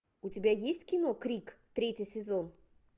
у тебя есть кино крик третий сезон